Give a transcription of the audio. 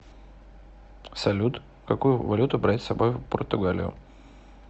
салют какую валюту брать с собой в португалию